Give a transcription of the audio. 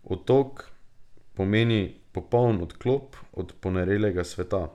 Otok pomeni popoln odklop od ponorelega sveta.